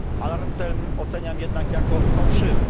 Alarm ten oceniam jednak jako fałszywy.